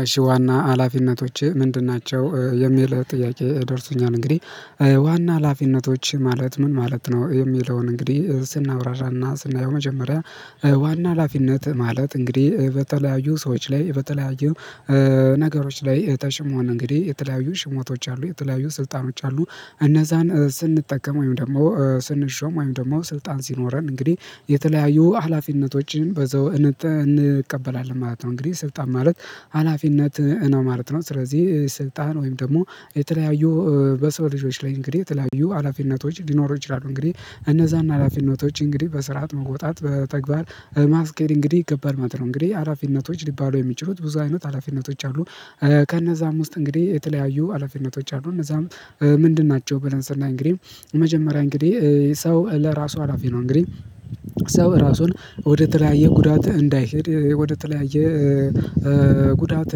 እሺ ዋና ሀላፊነቶችህ ምንድን ናቸው የሚል ጥያቄ ደርሶኛል እንግዲህ ዋና ሀላፊነቶች ማለት ምን ማለት ነው? የሚለውን እንግዲህ ስናብራራና ስናየው መጀመሪያ። ዋና ሀላፊነት ማለት እንግዲህ በተለያዩ ሰዎች ላይ በተለያዩ ነገሮች ላይ ተሽሞን እንግዲህ የተለያዩ ሽሞቶች አሉ የተለያዩ ስልጣኖች አሉ። እነዛን ስንጠቀም ወይም ደግሞ ስንሾም ወይም ደግሞ ስልጣን ሲኖረን እንግዲህ የተለያዩ ሀላፊነቶችን በዘው እንቀበላለን ማለት ነው። እንግዲህ ስልጣን ማለት ሀላፊነት ነው ማለት ነው። ስለዚህ ስልጣን ወይም ደግሞ የተለያዩ በሰው ልጆች ላይ እንግዲህ የተለያዩ ሀላፊነቶች ሊኖሩ ይችላሉ። እንግዲህ እነዛን ሀላፊነቶች እንግዲህ በስርዓት መውጣት በተግባር ማስኬድ እንግዲህ ይገባል ማለት ነው። እንግዲህ አላፊነቶች ሊባሉ የሚችሉት ብዙ አይነት ሀላፊነቶች አሉ። ከነዛም ውስጥ እንግዲህ የተለያዩ ሀላፊነቶች አሉ እነዛም ምንድን ናቸው? ብለን ስናይ እንግዲህ መጀመሪያ እንግዲህ ሰው ለራሱ ሀላፊ ነው። እንግዲህ ሰው ራሱን ወደተለያየ ጉዳት እንዳይሄድ ወደ ተለያየ ጉዳት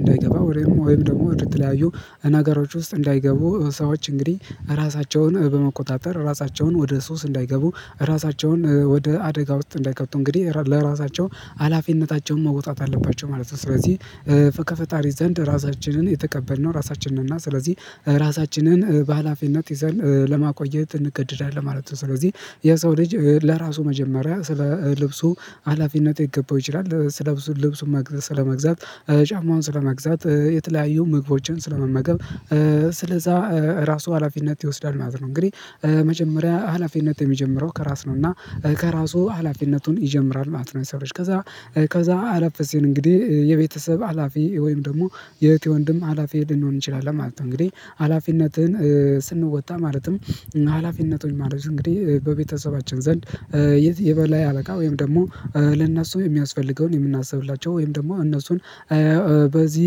እንዳይገባ ወይም ደግሞ ወደ ተለያዩ ነገሮች ውስጥ እንዳይገቡ ሰዎች እንግዲህ ራሳቸውን በመቆጣጠር ራሳቸውን ወደ ሱስ እንዳይገቡ ራሳቸውን ወደ አደጋ ውስጥ እንዳይከቱ እንግዲህ ለራሳቸው ሀላፊነታቸውን መወጣት አለባቸው ማለት ነው። ስለዚህ ከፈጣሪ ዘንድ ራሳችንን የተቀበልነው ራሳችንን እና ስለዚህ ራሳችንን በሃላፊነት ይዘን ለማቆየት እንገድዳለን ማለት ነው። ስለዚህ የሰው ልጅ ለራሱ መጀመሪያ ስለ ልብሱ ሀላፊነት ይገባው ይችላል ስለ ልብሱ ስለመግዛት ጫማውን ስለመግዛት የተለያዩ መግቦችን ስለመመገብ ስለዛ ራሱ ሀላፊነት ይወስዳል ማለት ነው። እንግዲህ መጀመሪያ ሀላፊነት የሚጀምረው ከራስ ነው እና ከራሱ ሀላፊነቱን ይጀምራል ማለት ነው። የሰው ልጅ ከዛ አለፍሲል እንግዲህ የቤተሰብ ሀላፊ ወይም ደግሞ የእህቴ ወንድም ሀላፊ ልንሆን እንችላለን ማለት ነው። እንግዲህ ሀላፊነትህን ስንወጣ ማለትም ሀላፊነቱን ማለት እንግዲህ በቤተሰባችን ዘንድ የት የበላይ አበቃ ወይም ደግሞ ለእናሱ የሚያስፈልገውን የምናስብላቸው ወይም ደግሞ እነሱን በዚህ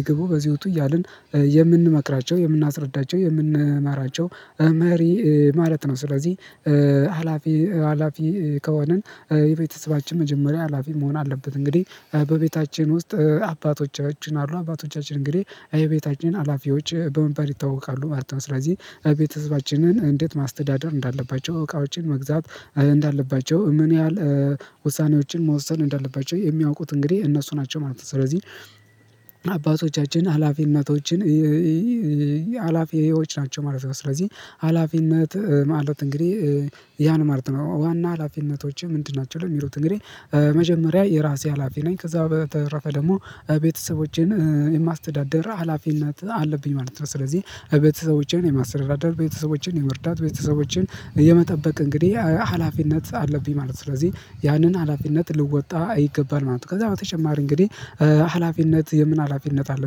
እግቡ በዚህ ወጡ እያልን የምንመክራቸው የምናስረዳቸው የምንመራቸው ማሪ ማለት ነው። ስለዚህ ሀላፊ ሀላፊ ከሆነን የቤተሰባችን መጀመሪያ ሀላፊ መሆን አለበት። እንግዲህ በቤታችን ውስጥ አባቶቻችን አሉ አባቶቻችን እንግዲህ የቤታችን ሀላፊዎች በመባል ይታወቃሉ ማለት ነው። ስለዚህ ቤተሰባችንን እንዴት ማስተዳደር እንዳለባቸው እቃዎችን መግዛት እንዳለባቸው ምን ያህል ውሳኔዎችን መወሰን እንዳለባቸው የሚያውቁት እንግዲህ እነሱ ናቸው። ማለት ነው ስለዚህ አባቶቻችን ሀላፊነቶችን ሀላፊዎች ናቸው ማለት ነው። ስለዚህ ሀላፊነት ማለት እንግዲህ ያን ማለት ነው። ዋና ሀላፊነቶችህ ምንድን ናቸው? ለሚሉት እንግዲህ መጀመሪያ የራሴ ሀላፊ ነኝ። ከዛ በተረፈ ደግሞ ቤተሰቦቼን የማስተዳደር ሀላፊ እናት አለብኝ ማለት ነው። ስለዚህ ቤተሰቦቼን የማስረዳደር ቤተሰቦችን የመርዳት ቤተሰቦችን የመጠበቅ እንግዲህ ሀላፊነት አለብኝ ማለት ነው። ስለዚህ ያንን ሀላፊነት ልወጣ ይገባል ማለት ነው። ከዛ በተጨማሪ እንግዲህ ሀላፊነት የምን ሀላፊነት አለ።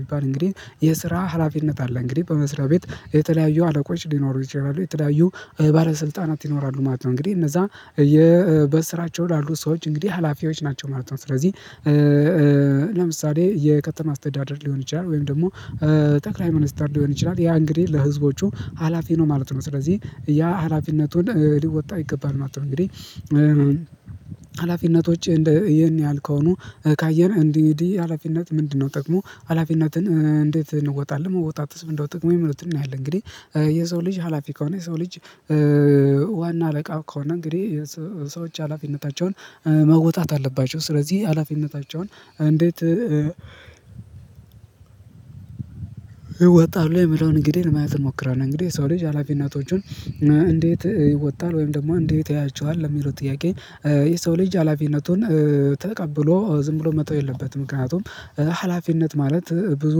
ቢባል እንግዲህ የስራ ሀላፊነት አለ እንግዲህ በመስሪያ ቤት የተለያዩ አለቆች ሊኖሩ ይችላሉ የተለያዩ ባለስልጣናት ይኖራሉ ማለት ነው። እንግዲህ እነዛ በስራቸው ላሉ ሰዎች እንግዲህ ሀላፊዎች ናቸው ማለት ነው። ስለዚህ ለምሳሌ የከተማ አስተዳደር ሊሆን ይችላል። ወይም ደግሞ ጠቅላይ ሚኒስትር ሊሆን ይችላል። ያ እንግዲህ ለህዝቦቹ ሀላፊ ነው ማለት ነው። ስለዚህ ያ ሀላፊነቱን ሊወጣ ይገባል ማለት ነው። እንግዲህ ሀላፊነቶችህ እንደ ይህን ያህል ከሆኑ ካየን እንዲህ እንዲህ ሀላፊነት ምንድነው? ጠቅሞ ሀላፊነትን እንዴት እንወጣለን መውጣት ምንድ ነው? ጥቅሙ የሚሉትን እናያለን። እንግዲህ የሰው ልጅ ሀላፊ ከሆነ የሰው ልጅ ዋና አለቃ ከሆነ እንግዲህ ሰዎች ሀላፊነታቸውን መወጣት አለባቸው። ስለዚህ ሀላፊነታቸውን እንዴት ወጣሁ ላይ የምለውን እንግዲህ ለማየት እንሞክራለን። እንግዲህ የሰው ልጅ ሀላፊ እናቶቹን እንዴት ይወጣል ወይም ደግሞ እንዴት ያያቸዋል ለሚለው ጥያቄ። የሰው ልጅ ሀላፊነቱን ተቀብሎ ዝም ብሎ መተው የለበትም። ምክንያቱም ሀላፊነት ማለት ብዙ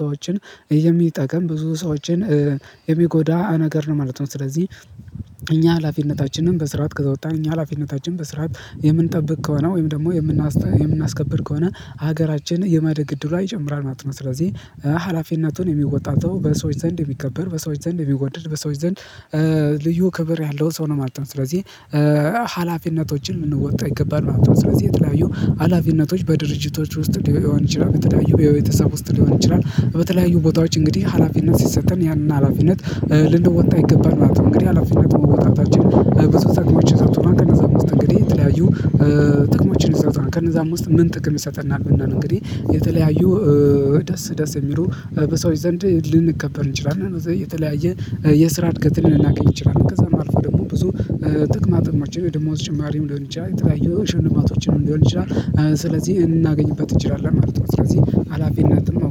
ሰዎችን የሚጠቀም ብዙ ሰዎችን የሚጎዳ ነገር ነው ማለት ነው። ስለዚህ እኛ ሀላፊነታችንን በስርዓት ከተወጣን እኛ ሀላፊነታችን በስራት የምንጠብቅ ከሆነ ወይም ደግሞ የምናስከብር ከሆነ ሀገራችን የማደግ እድልዋ ይጨምራል ማለት ነው። ስለዚህ ሀላፊነቱን የሚወጣ ሰው በሰዎች ዘንድ የሚከበር በሰዎች ዘንድ የሚወደድ በሰዎች ዘንድ ልዩ ክብር ያለው ሰው ነው ማለት ነው። ስለዚህ ሀላፊነቶችን ልንወጣ ይገባል ማለት ነው። ስለዚህ የተለያዩ ሀላፊነቶች በድርጅቶች ውስጥ ሊሆን ይችላል። የተለያዩ የቤተሰብ ውስጥ ሊሆን ይችላል። በተለያዩ ቦታዎች እንግዲህ ሀላፊነት ሲሰጠን ያንን ሀላፊነት ልንደወጣ ይገባል ማለት ነው። እንግዲህ ሀላፊነት መወጣታችን ብዙ ጥቅሞች ይሰጡና ከነዛም ውስጥ እንግዲህ የተለያዩ ጥቅሞችን ይሰጡና ከነዛም ውስጥ ምን ጥቅም ይሰጠናል? ብንል እንግዲህ የተለያዩ ደስ ደስ የሚለው በሰዎች ዘንድ ልንከበር እንችላለን። እነዛ የተለያየ የስራ እድገት ልናገኝ እንችላል። ከዛ የማልፈው ደግሞ ብዙ ጥቅማ ጥማችን የደሞዝ ጭማሬም ሊሆን ይችላል። የተለያየ ሽልማቶችን ሊሆን ይችላል። ስለዚህ እናገኝበት እንችላለን ማለት ነው። ስለዚህ ሀላፊነትም